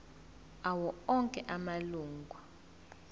awo onke amalunga